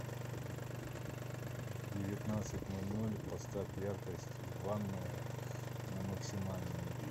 в девятнадцать ноль ноль поставь яркость ванная на максимальную